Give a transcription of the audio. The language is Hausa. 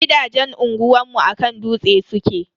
Gidajen unguwanmu a kan dutse suke.